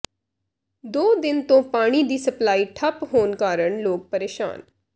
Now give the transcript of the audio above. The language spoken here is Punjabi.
ਦੋ ਦਿਨ ਤੋਂ ਪਾਣੀ ਦੀ ਸਪਲਾਈ ਠੱਪ ਹੋਣ ਕਾਰਨ ਲੋਕ ਪਰੇਸ਼ਾਨ